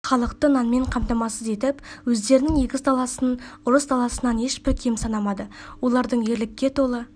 халықты намен қамтамасыз етіп өздерінің егіс даласын ұрыс даласынан ешбір кем санамады олардың ерлікке толы